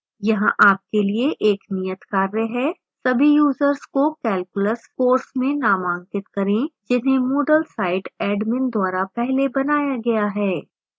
यहाँ आपके लिए एक नियतकार्य है